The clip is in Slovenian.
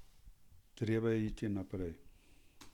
Treba je iti naprej.